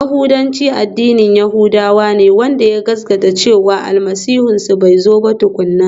Yahudanci addinin yahudawa ne wanda ya gaskata cewa Almasihunsu bai zo ba tukuna.